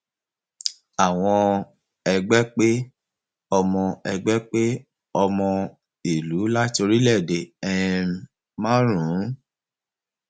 àwọn ẹgbẹ pé ọmọ ẹgbẹ pé ọmọ ìlú láti orílẹèdè um márùnún